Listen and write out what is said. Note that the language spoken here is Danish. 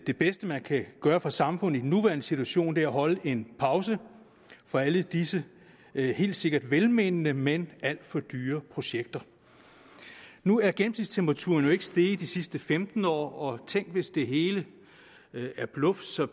det bedste man kan gøre for samfundet i den nuværende situation er at holde en pause fra alle disse helt sikkert velmente men alt for dyre projekter nu er gennemsnitstemperaturen jo ikke steget de sidste femten år og tænk hvis det hele er bluff så